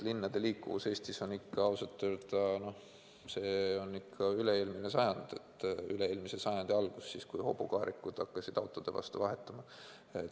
Linnade liikuvus Eestis on ikka eelmise sajandi alguse tasemel, kui hobukaarikud hakkasid autode vastu vahetuma.